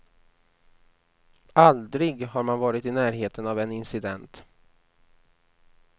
Aldrig har man varit i närheten av en incident.